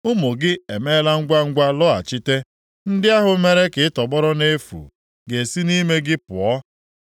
Ụmụ gị emeela ngwangwa lọghachite, ndị ahụ mere ka ị tọgbọrọ nʼefu ga-esi nʼime gị pụọ.